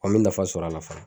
An mɛ nafa sɔrɔ a la fana.